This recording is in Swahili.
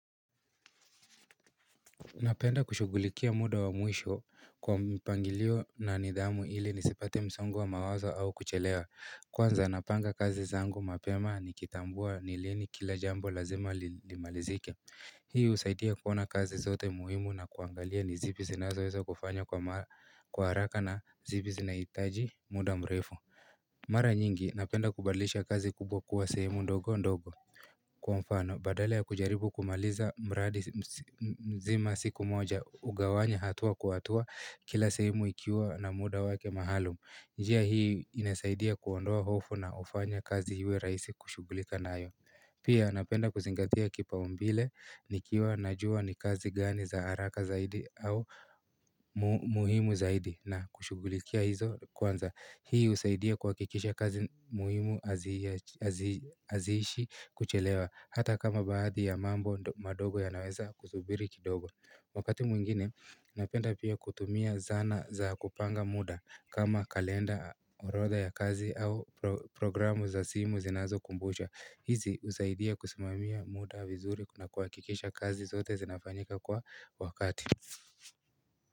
Napenda kushugulikia muda wa mwisho kwa mpangilio na nidhamu ili nisipate msongo wa mawazo au kuchelewa Kwanza napanga kazi zangu mapema nikitambua ni lini kila jambo lazima limalizike Hii husaidia kuona kazi zote muhimu na kuangalia ni zipi zinazoweza kufanywa kwa haraka na zipi zinahitaji muda mrefu Mara nyingi napenda kubadilisha kazi kubwa kuwa sehemu ndogo ndogo Kwa mfano, badala ya kujaribu kumaliza mradi mzima siku moja hugawanya hatua kwa hatua kila sehemu ikiwa na muda wake maalum njia hii inasaidia kuondoa hofu na hufanya kazi iwe rahisi kushugulika nayo Pia napenda kuzingatia kipaumbele nikiwa najua ni kazi gani za haraka zaidi au muhimu zaidi na kushugulikia hizo kwanza Hii husaidia kuhakikisha kazi muhimu hazi haziishi kuchelewa hata kama baadhi ya mambo madogo yanaweza kusubiri kidogo Wakati mwingine napenda pia kutumia zana za kupanga muda kama kalenda orodha ya kazi au programu za simu zinazokumbusha hizi husaidia kusimamia muda vizuri na kuhakikisha kazi zote zinafanyika kwa wakati.